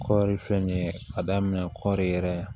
Kɔɔri fɛn nin ye a daminɛ kɔɔri yɛrɛ ye